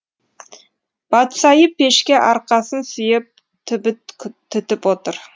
батсайы пешке арқасын сүйеп түбіт түтіп отыр